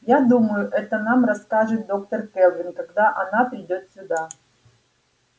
я думаю это нам расскажет доктор кэлвин когда она придёт сюда